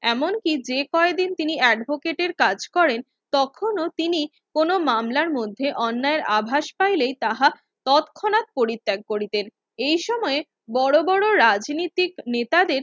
এমনকি যে কয়দিন তিনি advocate এর কাজ করেন তখনো তিনি কোন মামলার মধ্যে অন্যায় এর আভাস পাইলে তাহা তৎক্ষনাত পরিত্যাগ করিতেন এ সময় বড়ো বড়ো রাজনীতিক নেতাদের